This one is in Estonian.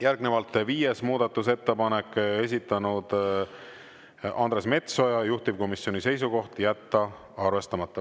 Järgnevalt viies muudatusettepanek, esitanud Andres Metsoja, juhtivkomisjoni seisukoht: jätta arvestamata.